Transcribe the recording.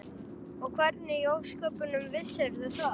Og hvernig í ósköpunum vissirðu það?